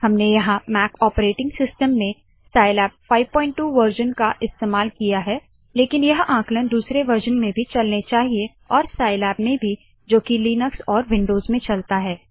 हमने यहाँ Mac operating system में साइलैब 52 वरज़न संस्करण का इस्तेमाल किया है लेकिन यह आंकलन दूसरे वरज़न में भी चलने चाहिए और साइलैब में भी जो की लिनक्स और विन्डोज़ में चलता है